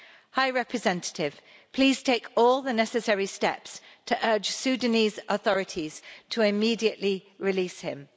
High Representative, please take all the necessary steps to urge Sudanese authorities to immediately release him.